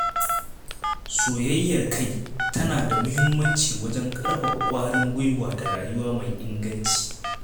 Soyayyar kai tana da muhimmanci wajen ƙarfafa ƙwarin gwiwa da rayuwa mai inganci.